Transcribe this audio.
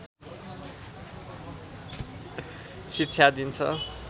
शिक्षा दिन्छ